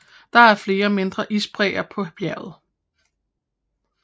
Det er flere mindre isbræer på bjerget